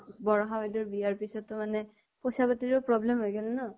বৰষা বাইদেও ৰ বিয়া ৰ পিছতো মানে, পৈছা পাতি ৰো problem হৈ গল ন